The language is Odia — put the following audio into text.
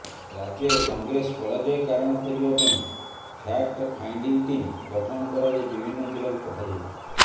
ରାଜ୍ୟରେ କଂଗ୍ରେସ ପରାଜୟ କାରଣ ଖୋଜିବା ପାଇଁ ଫ୍ୟାକ୍ଟ ଫାଇଣ୍ଡିଂ ଟିମ ଗଠନ କରାଯାଇ ବିଭିନ୍ନ ଜିଲ୍ଲାକୁ ପଠାଯାଉଛି